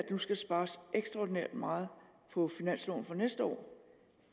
nu skal spares ekstraordinært meget på finansloven for næste år